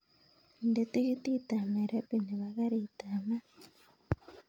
Inde tikitit ap nairobi nepo karit ap maat